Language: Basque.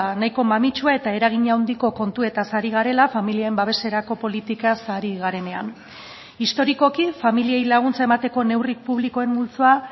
nahiko mamitsua eta eragin handiko kontuetaz ari garela familien babeserako politikaz ari garenean historikoki familiei laguntza emateko neurri publikoen multzoa